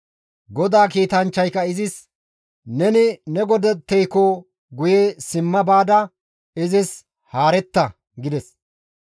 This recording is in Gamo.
GODAA kiitanchchayka izis, «Neni ne godatteyko guye simma baada izis haaretta» gides